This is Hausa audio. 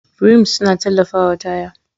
Rims suna tallafawa taya.